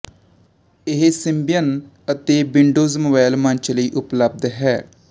ਇਹ ਸਿੰਬਿਅਨ ਅਤੇ Windows mobile ਮੰਚ ਲਈ ਉਪਲੱਬਧ ਹੈ